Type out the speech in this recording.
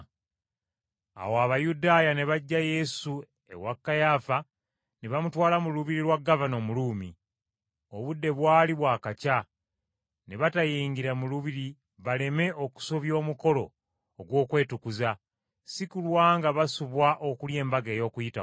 Awo Abayudaaya ne baggya Yesu ewa Kayaafa ne bamutwala mu lubiri lwa gavana Omuruumi. Obudde bwali bwakakya, ne batayingira mu lubiri baleme okusobya omukolo ogw’okwetukuza, si kulwa nga basubwa okulya Embaga y’Okuyitako.